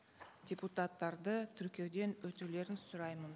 депутаттарды тіркеуден өтулерін сұраймын